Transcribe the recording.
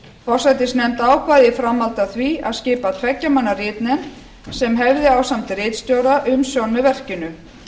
forsætisnefnd ákvað í framhaldi af því að skipa tveggja manna ritnefnd sem hefði ásamt ritstjóra umsjón með verkinu